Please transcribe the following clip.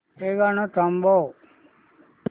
हे गाणं थांबव